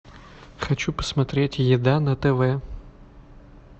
хочу посмотреть еда на тв